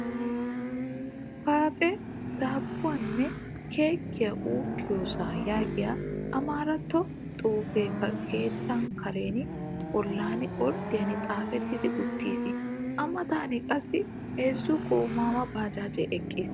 "Faaxe daabbuwaanne keekkiyaa ukkiyosaa" yaagiya Amaaratto xuufee keettaa karen bollan orddiyan xaafettidi uttiis. A matan qassi heezzu goomaawa baajaajee eqqiis.